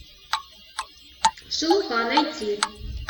шелуха найти